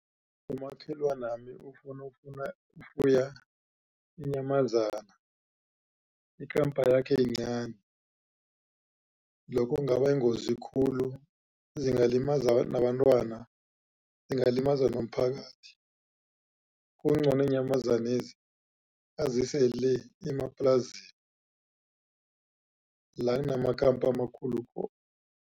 Umakhelwanami ufuna ukufuya inyamazana ikampa yakhe yincani lokho kungaba yingozi khulu zingalimaza nabantwana ingalimaza nomphakathi. Kungcono iinyamazanezi azise le emaplasini la kunamakampa amakhulu khona.